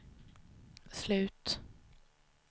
slut